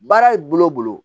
Baara bolo